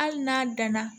Hali n'a danna